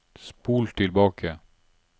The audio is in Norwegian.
spol tilbake